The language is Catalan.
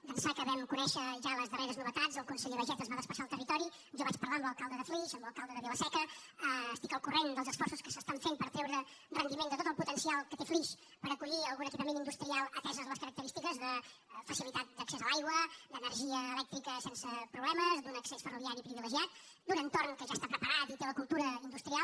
d’ençà que vam conèixer ja les darreres novetats el conseller baiget es va desplaçar al territori jo vaig parlar amb l’alcalde de flix amb l’alcalde de vila seca estic al corrent dels esforços que es fan per treure rendiment de tot el potencial que té flix per acollir algun equipament industrial ateses les característiques de facilitat d’accés a l’aigua d’energia elèctrica sense problemes d’un accés ferroviari privilegiat d’un entorn que ja està preparat i té la cultura industrial